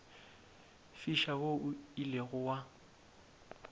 fiša wo o ilego wa